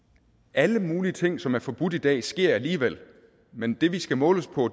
alle mulige ting som er forbudt i dag sker alligevel men det vi skal måles på